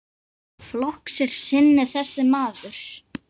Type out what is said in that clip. Flokks er sinni þessi maður.